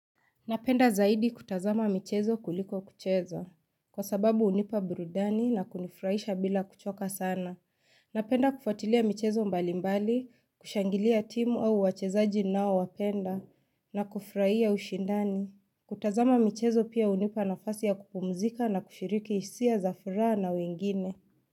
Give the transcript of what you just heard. Napenda zaidi kutazama michezo kuliko kucheza, kwa sababu unipa burudani na kunifurahisha bila kuchoka sana. Napenda kufatilia michezo mbalimbali, kushangilia timu au wachezaji ninao wapenda, na kufurahia ushindani. Kutazama michezo pia unipa nafasi ya kupumzika na kushiriki hisia za furaha na wengine.